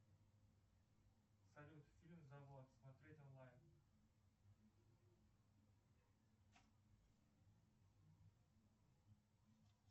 салют фильм забор смотреть онлайн